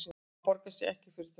Það borgar sig ekki fyrir þau